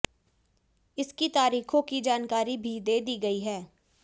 इसकी तारीखों की जानकारी भी दे दी गई है